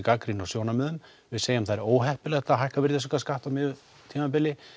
gagnrýni og sjónarmiðum við segjum það óheppilegt að hækka virðisaukaskatt á miðju tímabili